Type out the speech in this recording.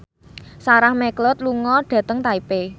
Sarah McLeod lunga dhateng Taipei